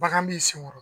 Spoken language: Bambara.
Bagan b'i sen kɔrɔ